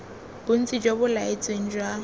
bontsi jo bo laetsweng jwa